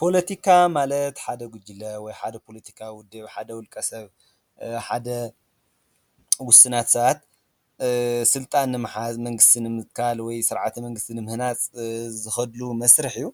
ፖለቲካ ማለት ሓደ ጉጅለ ወይ ሓደ ፖለቲካዊ ውድብ፣ ሓደ ውልቀ ሰብ፣ ውሱናት ሰባት ስልጣን ንምሓዝ፣ መንግስቲ ንምትካል ወይ ስርዓተ መንግስቲ ንምህናፅ ዝኸድሉ መስርሕ እዩ፡፡